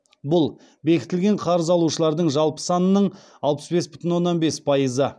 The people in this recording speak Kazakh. бұл бекітілген қарыз алушылардың жалпы санының алпыс бес бүтін оннан бес пайызы